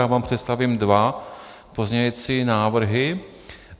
Já vám představím dva pozměňující návrhy.